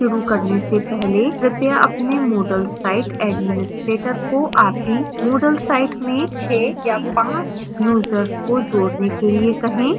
शुरू करने से पहले कृपया अपने moodle site administrator को आपकी moodle site में 5 या 6 यूजर्स को जोड़ने के लिए कहें